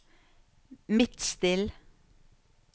Midtstill